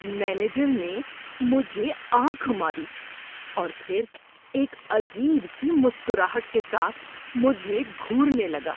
Manager نے مجھے آنکھ ماری اور پھر ایک عجیب سی مسکراہٹ کے ساتھ مجھے گھورنے لگا۔